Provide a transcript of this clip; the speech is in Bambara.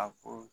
A ko